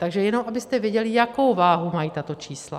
Takže jenom abyste věděli, jakou váhu mají tato čísla.